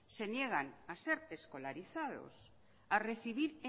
se niegan a ser escolarizados a recibir